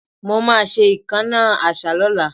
Mo ma ṣe ìkánná àṣá lọ́la